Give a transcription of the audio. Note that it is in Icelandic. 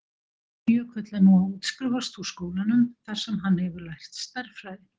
Jökull er nú að útskrifast úr skólanum þar sem hann hefur lært stærðfræði.